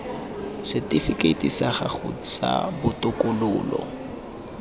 setifikeiti sa gago sa botokololo